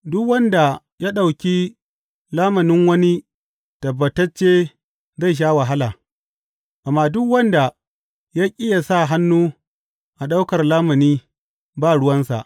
Duk wanda ya ɗauki lamunin wani tabbatacce zai sha wahala, amma duk wanda ya ƙi ya sa hannu a ɗaukar lamuni ba ruwansa.